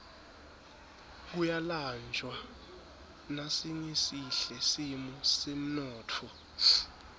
kuyalanjwa nasingesihle simo semnotfo